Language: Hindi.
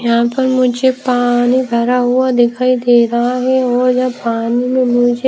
यहां पर मुझे पानी भरा हुआ दिखाई दे रहा है और यहां पानी में मुझे--